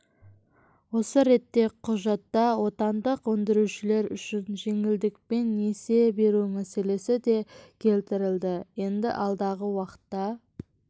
осы ретте құжатта отандық өндірушілер үшін жеңілдікпен несие беру мәселесі де келтірілді енді алдағы уақытта